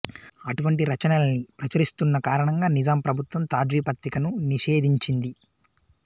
అటువంటి రచనల్ని ప్రచురిస్తున్న కారణంగా నిజాం ప్రభుత్వం తాజ్వీ పత్రికను నిషేధించింది